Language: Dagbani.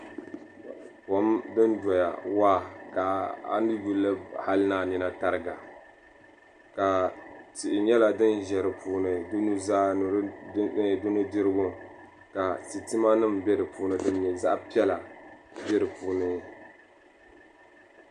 Kom din doya waa ka a ni yulli hali ni a nina tariga ka tihi nyɛla din ʒɛ di puuni di nuzaa ni di nudirigu ka sitima nim bɛ di puuni din nyɛ zaɣ piɛla bɛ di puuni